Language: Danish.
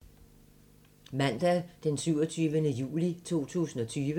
Mandag d. 27. juli 2020